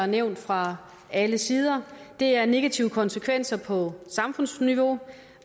nævnt fra alle sider det er negative konsekvenser på samfundsniveau